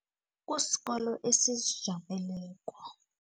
Kusikolo esizijameleko.